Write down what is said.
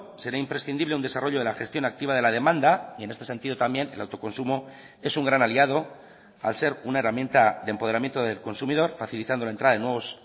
será imprescindible un desarrollo de la gestión activa de la demanda y en este sentido también el autoconsumo es un gran aliado al ser una herramienta de empoderamiento del consumidor facilitando la entrada de nuevos